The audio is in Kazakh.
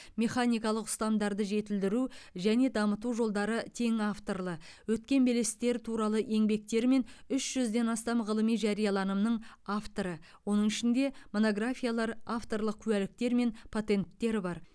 механикалық ұстамдарды жетілдіру және дамыту жолдары тең авторлы өткен белестер туралы еңбектері мен үш жүзден астам ғылыми жарияланымның авторы оның ішінде монографиялар авторлық куәліктер мен патенттер бар